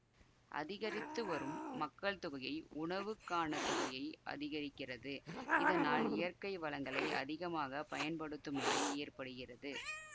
அதிகரித்துவரும் மக்கள் தொகையை உணவுக்கான தொகையை அதிகரிக்கிறது இதனால் இயற்கை வளங்களை அதிகமாக பயன்படுத்தும் நிலை ஏற்படுகிறது